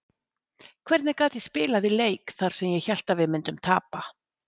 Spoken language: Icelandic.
Hvernig gat ég spilað í leik þar sem ég hélt að við myndum tapa?